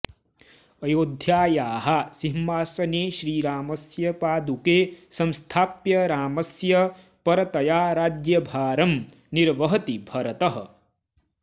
अयोध्यायाः सिंहासने श्रीरामस्य पादुके संस्थाप्य रामस्य परतया राज्यभारं निर्वहति भरतः